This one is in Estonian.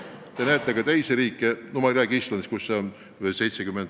Te näete slaidil ka teisi riike, näiteks Islandis on see näitaja 75% ja veidi rohkemgi.